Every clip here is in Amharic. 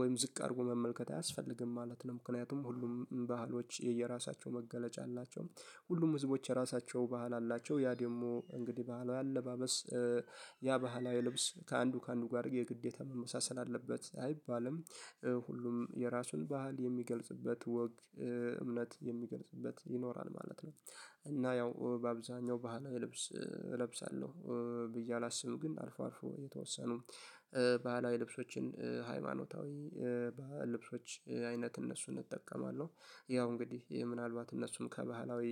ወይም ዝቅ አድርጎ መመልከት አያስፈልግም ማለት ነው። ምክንያቱም ሁሉም ባህሎች የየራሳቸው መገለጫ አላቸው ሁሉም ህዝቦች የራሳቸው ባህል አላቸው ያ ደግሞ እንግዲህ ባህላዊ አለባበስ ያ ባህላዊ ልብስ ከአንዱ ከአንዱ ጋር የግዴታ መመሳሰል አለበት አይባልም ሁሉም የራሱን ባህል የሚገልጽበት ወግ እምነት የሚገልጽበት ይኖራል ማለት ነው። እና ያው በአብዛኛው ባህላዊ ልብስ እለብሳለሁ። ብዬ አላስብም። ግን አልፎ አልፎ የተወሰኑ ባህላዊ ልብሶችን ሃይማኖታዊ ልብሶች አይነት እነሱን እጠቀማለሁ ያው እንግዲህ ምናልባት እነሱም ከባህላዊ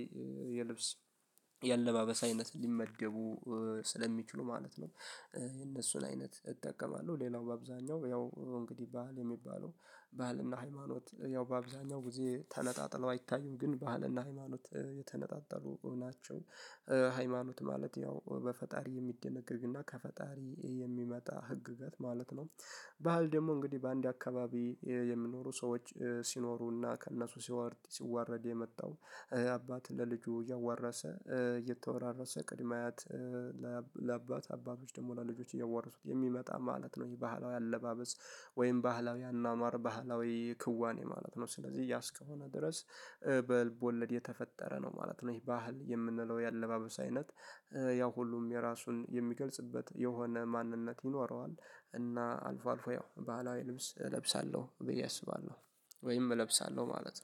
የአለባበሳዊነት ሊመደቡ ስለሚችሉ ማለት ነው የነሱን አይነት እጠቀማለሁ ሌላው በአብዛኛው ያው እንግዲህ ባህል የሚባለው ባህልና ሃይማኖት ያው በአብዛኛው ጊዜ ተነጣጥለው አይታዩም ግን ባህልና ሃይማኖት የተነጣጠሉ ናቸው። ሃይማኖት ማለት ያው በፈጣሪ የሚደነገግና ከፈጣሪ የሚመጣ ህግገት ማለት ነው ባህል ደግሞ እንግዲህ በአንድ አካባቢ የሚኖሩ ሰዎች ሲኖሩና ከእነሱ ሲዋረድ ሲዋረድ የመጣው አባት ለልጁ ያዋረሰ የተወራረሰ ቅድመ አያት ለአባት አባቶች ደግሞ ለልጆች እያዋረሱት የሚመጣ ማለት ነው የባህላዊ አለባበስ ወይም ባህላዊ አናማር ባህላዊ ክዋኔ ማለት ነው። ስለዚህ ያስከሆነ ድረስ በልብ ወለድ የተፈጠረ ነው ማለት ነው። ይሄ ባህል የምንለው የአለባበስ አይነት ያው ሁሉም የራሱን የሚገልጽበት የሆነ ማንነት ይኖረዋል። እና አልፎ አልፎ ያው ባህላዊ ልብስ እለብሳለሁ ብዬ አስባለሁ ወይም እለብሳለሁ ማለት ነው